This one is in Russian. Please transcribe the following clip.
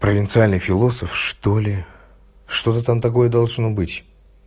провинциальный философ что ли что-то там такое должно быть